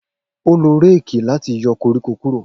O lo réèkì lati yọ koriko kuro.